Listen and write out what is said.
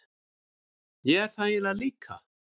Ég er það eiginlega líka.